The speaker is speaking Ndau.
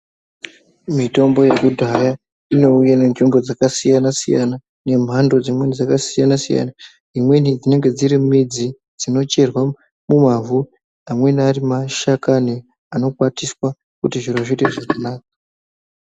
Mitombo yekudhaya inouya netsvimbo dzakasiyana siyana nemhando dzakasiyana siyana imweni dziri midzi dzinocherwa mumavhu Ari mashakani anokwatiswa kuti zvinhu zviite zviri nane.